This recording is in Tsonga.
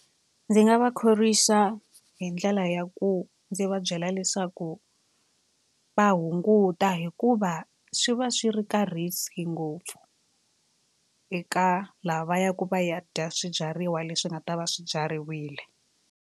Ndzi nga va khorwisa hi ndlela ya ku ndzi va byela leswaku va hunguta hikuva swi va swi ri ka risk ngopfu eka lava va yaka va ya dya swibyariwa leswi nga ta va swibyariwile.